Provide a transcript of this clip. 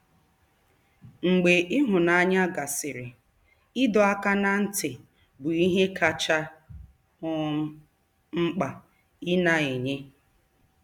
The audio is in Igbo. Mgbe ịhụnanya gasịrị, ịdọ aka ná ntị bụ ihe kacha um mkpa ị na-enye. ”